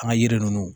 An ka yiri ninnu